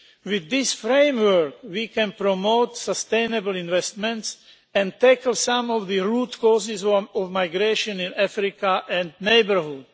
With this framework, we can promote sustainable investment and tackle some of the root causes of migration in Africa and the neighbourhood.